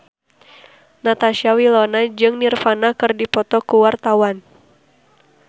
Natasha Wilona jeung Nirvana keur dipoto ku wartawan